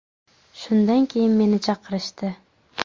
Shundan keyin meni chaqirishdi.